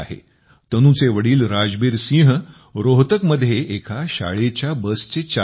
तनूचे वडील राजबीर सिंह रोहतकमध्ये एका शाळेच्या बसचे चालक आहेत